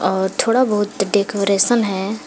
और थोड़ा बहुत डेकोरेशन है।